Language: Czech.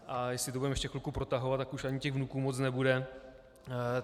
A jestli to budeme ještě chvilku protahovat, tak už ani těch vnuků moc nebude.